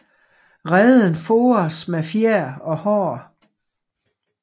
Reden fores med fjer og hår